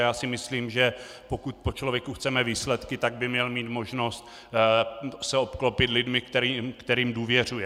A já si myslím, že pokud po člověku chceme výsledky, tak by měl mít možnost se obklopit lidmi, kterým důvěřuje.